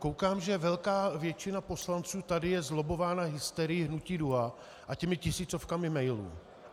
Koukám, že velká většina poslanců tady je zlobbována hysterií Hnutí DUHA a těmi tisícovkami mailů.